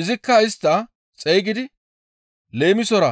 Izikka istta xeygidi leemisora,